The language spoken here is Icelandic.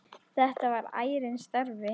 Þetta var ærinn starfi.